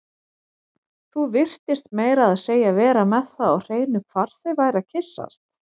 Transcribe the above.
Þú virtist meira að segja vera með það á hreinu hvar þau væru að kyssast